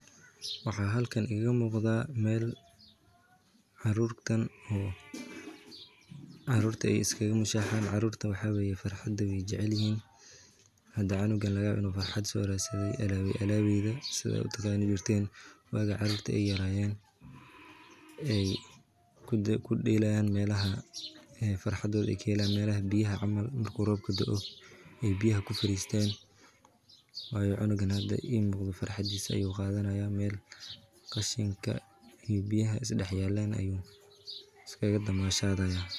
Waxaa halkan iiga muuqda meel caruurta aay ku mushaxan kaga yaaba cunugan inuu alaab soo radsade ilmaha kudelaan alaabta meel qashinka iyo biyaha is dex yaalan ayuu ku ciyaaraya.